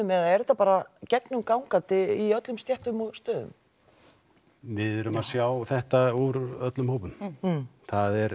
eða er þetta bara gegnumgangandi í öllum stéttum og stöðum við erum að sjá þetta úr öllum hópum það er